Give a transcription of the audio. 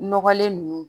Nɔgɔlen ninnu